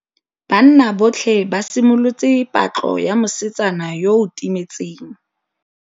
Banna botlhê ba simolotse patlô ya mosetsana yo o timetseng.